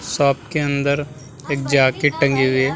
Shop के अंदर एक जाकेट टंगी हुई है।